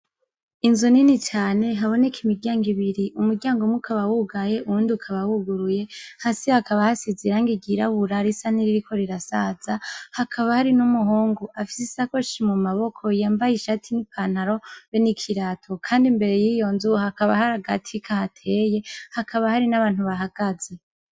Inzu nini cane haboneka imiryango ibiri umuryango umwe ukaba wugaye uwundi ukaba wuguruye hasi hakaba hasize irangi ry'irabura risa nkiririko rirasaza hakaba hari n'umuhungu afise isakoshi mu maboko yambaye ishati n'ipantaro be n'ikirato kandi mbere yiyo nzu hakaba hari agati kahateye hakaba hari n'abantu bahagaze.